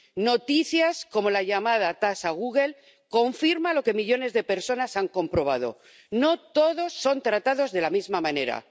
Noticias como la llamada tasa Google confirman lo que millones de personas han comprobado no todos son tratados de la misma manera.